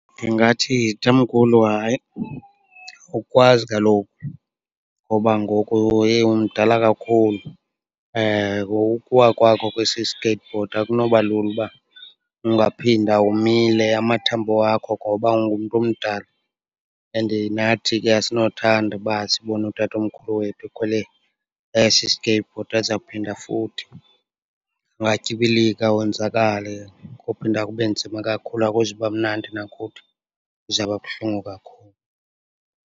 Ndingathi, tamkhulu, hayi awukwazi kaloku, ngoba ngoku, yeyi, umdala kakhulu. Ukuwa kwakho kwesi skateboard akunoba lula uba ungaphinda umile amathambo wakho ngoba ungumntu omdala. And nathi ke asinothanda uba sibone utatomkhulu wethu ekhwele esi skateboard azawuphinda futhi ungatyibilika, wonzakale. Kophinda kube nzima kakhulu, akuzuba mnandi nakuthi, kuzawuba buhlungu kakhulu.